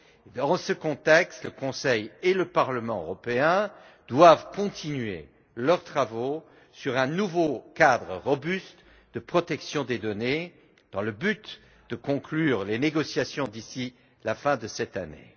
Dans ce contexte, le Conseil et le Parlement européen doivent continuer leurs travaux sur un nouveau cadre solide de protection des données, dans le but de conclure les négociations d'ici la fin de cette année.